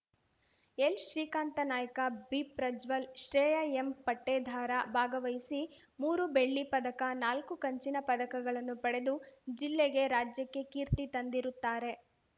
ಎಲ್‌ಶ್ರೀಕಾಂತ ನಾಯ್ಕ ಬಿಪ್ರಜ್ವಲ್‌ ಶ್ರೇಯಾ ಎಂಪಟ್ಟೇದಾರ ಭಾಗವಹಿಸಿ ಮೂರು ಬೆಳ್ಳಿ ಪದಕ ನಾಲ್ಕು ಕಂಚಿನ ಪದಕಗಳನ್ನು ಪಡೆದು ಜಿಲ್ಲೆಗೆ ರಾಜ್ಯಕ್ಕೆ ಕೀರ್ತಿ ತಂದಿರುತ್ತಾರೆ